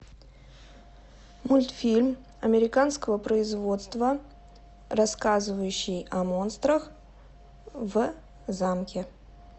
мультфильм американского производства рассказывающий о монстрах в замке